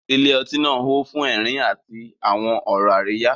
Ilé ọtí náà hó fún ẹ̀rín àti àwọn ọ̀rọ̀ àríyá.